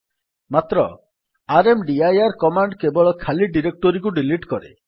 ମାତ୍ର rmdir command କେବଳ ଖାଲି ଡିରେକ୍ଟୋରୀକୁ ଡିଲିଟ୍ କରେ